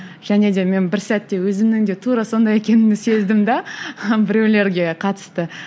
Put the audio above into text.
және де мен бір сәтте өзімнің де тура сондай екенімді сездім де біреулерге қатысты